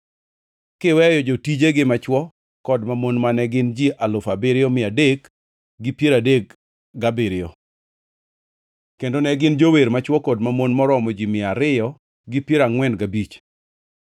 kiweyo jotijegi machwo kod mamon mane gin ji alufu abiriyo mia adek gi piero adek gabiriyo (7,337); kendo ne gin gi jower machwo kod mamon maromo ji mia ariyo gi piero angʼwen gabich (245).